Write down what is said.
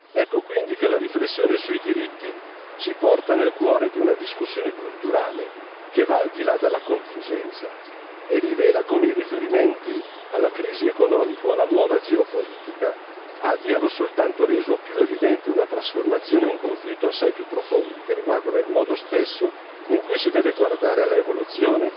Ecco quindi che la riflessione sui diritti ci porta nel cuore di una discussione culturale che va al di là della contingenza e rivela come i riferimenti alla crisi economica e alla nuova geopolitica abbiamo soltanto reso più evidente una trasformazione e un conflitto assai più profondi, che riguardano il modo stesso in cui si deve guardare all'evoluzione